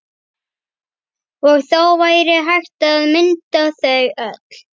Og þá væri hægt að mynda þau öll.